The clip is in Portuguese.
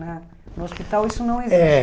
Né no hospital isso não existe. É